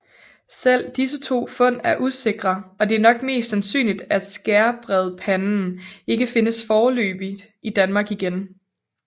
Selv disse to fund er usikre og det er nok mest sandsynligt at skærbredpanden ikke findes foreløbigt i Danmark igen